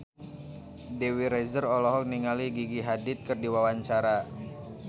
Dewi Rezer olohok ningali Gigi Hadid keur diwawancara